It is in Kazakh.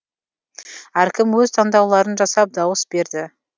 әркім өз таңдауларын жасап дауыс берді